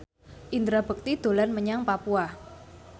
Indra Bekti dolan menyang Papua